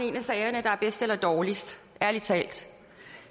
en af sagerne der er bedst eller dårligst ærlig talt